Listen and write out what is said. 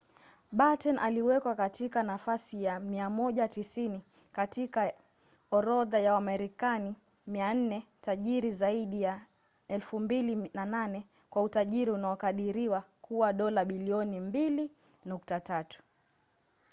batten aliwekwa katika nafasi ya 190 katika orodha ya wamarekani 400 tajiri zaidi ya 2008 kwa utajiri unaokadiriwa kuwa dola bilioni 2.3